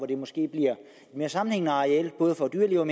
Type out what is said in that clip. det måske bliver mere sammenhængende arealer både for dyrelivet